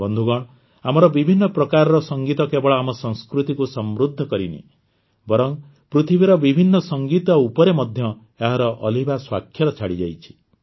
ବନ୍ଧୁଗଣ ଆମର ବିଭିନ୍ନ ପ୍ରକାରର ସଂଗୀତ କେବଳ ଆମ ସଂସ୍କୃତିକୁ ସମୃଦ୍ଧ କରି ନାହିଁ ବରଂ ପୃଥିବୀର ବିଭିନ୍ନ ସଂଗୀତ ଉପରେ ମଧ୍ୟ ଏହାର ଅଲିଭା ସ୍ୱାକ୍ଷର ଛାଡ଼ିଯାଇଛି